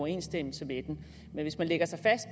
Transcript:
international